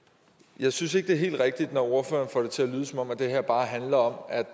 jeg synes ikke det er helt rigtigt når ordføreren får det til at lyde som om det her bare handler om